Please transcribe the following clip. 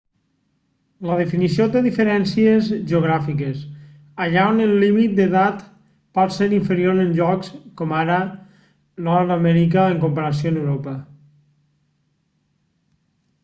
la definició té diferències geogràfiques allà on el límit d'edat pot ser inferior en llocs com ara nord amèrica en comparació amb europa